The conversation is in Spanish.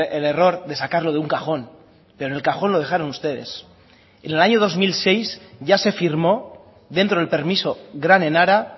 el error de sacarlo de un cajón pero en el cajón lo dejaron ustedes en el año dos mil seis ya se firmó dentro del permiso gran enara